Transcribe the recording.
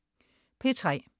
P3: